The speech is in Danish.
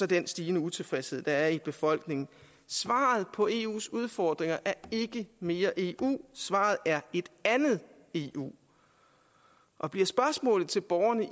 den stigende utilfredshed der er i befolkningen svaret på eus udfordringer er ikke mere eu svaret er et andet eu og bliver spørgsmålet til borgerne